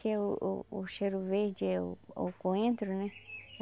Que o o o cheiro verde é o o coentro, né?